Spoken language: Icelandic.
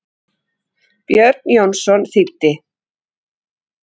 Björn Jónsson þýddi.